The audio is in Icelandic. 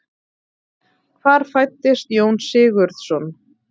Hvar fæddist Jón Sigurðsson?